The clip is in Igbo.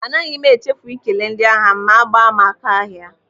Anaghị m echefu ikele ndị ahịa m ma gbaa m aka ahịa.